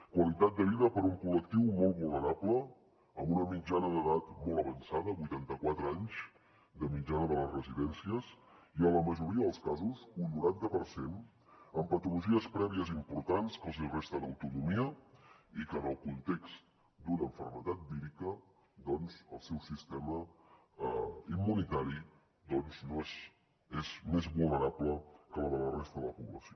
qualitat de vida per a un col·lectiu molt vulnerable amb una mitjana d’edat molt avançada vuitanta quatre anys de mitjana de les residències i en la majoria dels casos un noranta per cent amb patologies prèvies importants que els resten autonomia i que en el context d’una malaltia vírica doncs el seu sistema immunitari més vulnerable que el de la resta de la població